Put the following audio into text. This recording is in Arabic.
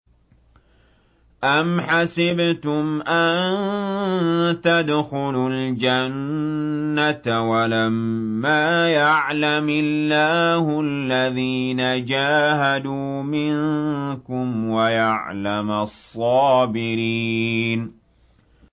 أَمْ حَسِبْتُمْ أَن تَدْخُلُوا الْجَنَّةَ وَلَمَّا يَعْلَمِ اللَّهُ الَّذِينَ جَاهَدُوا مِنكُمْ وَيَعْلَمَ الصَّابِرِينَ